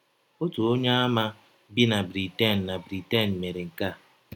Ọtụ Onyeàmà bi na Britain na Britain mere nke a.